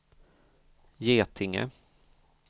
Getinge